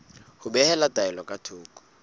ho behela taelo ka thoko